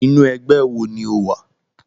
Inú ẹgbẹ́ wo ni o wà?